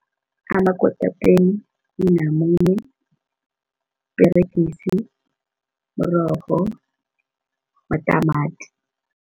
Amakotapeni, inamune, iperegisi, mrorho matamati.